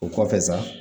O kɔfɛ sa